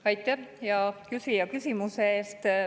Aitäh, hea küsija, küsimuse eest!